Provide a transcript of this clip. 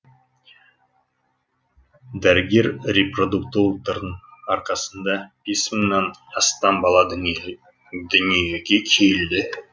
дәрігер репродуктологтардың арқасында бес мыңнан астам бала дүниеге келді